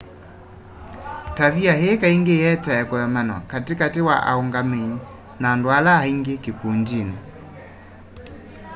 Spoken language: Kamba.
tavia ii kaingi ietae kuemanwa kati kati wa aungamii na andu ala angi kikundini